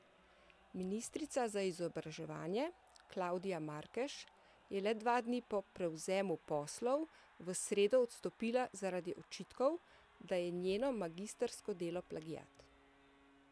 Ministrica za izobraževanje Klavdija Markež je le dva dni po prevzemu poslov v sredo odstopila zaradi očitkov, da je njeno magistrsko delo plagiat.